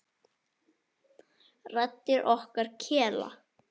Raddir okkar kela.